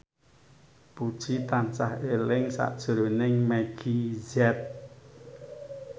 Puji tansah eling sakjroning Meggie Z